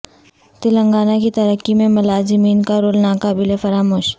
تلنگانہ کی ترقی میں ملازمین کا رول ناقابل فراموش